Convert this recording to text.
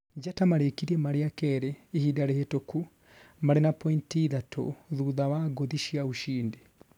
Njata marĩkirie marĩ a kerĩ ihĩnda rĩhitũku, marĩ na pointi ĩthatu thutha wa ngũthi cĩa ushindi